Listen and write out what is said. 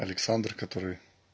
александр который